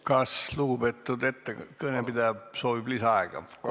Kas lugupeetud kõnepidaja soovib lisaaega?